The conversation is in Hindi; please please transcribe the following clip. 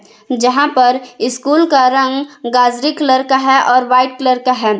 यहां पर स्कूल का रंग गाजरी कलर का है और व्हाइट कलर का है।